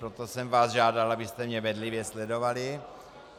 Proto jsem vás žádal, abyste mě bedlivě sledovali.